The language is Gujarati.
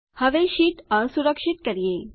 હવે શીટ અસુરક્ષિત કરીએ